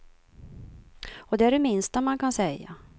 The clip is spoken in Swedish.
Och det är det minsta man kan säga.